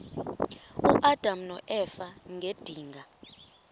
uadam noeva ngedinga